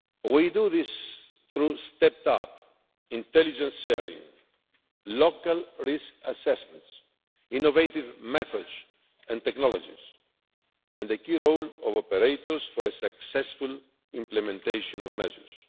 We do this through stepped up intelligence sharing, local risk assessments, innovative methods and technologies, and the key role of operators for a successful implementation of measures.